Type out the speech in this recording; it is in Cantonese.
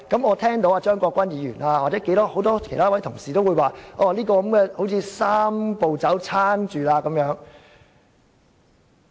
我聽到張國鈞議員和很多同事也指出，這樣，"三步走"便獲得支撐。